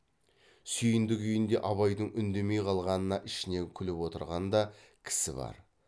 сүйіндік үйінде абайдың үндемей қалғанына ішінен күліп отырған да кісі бар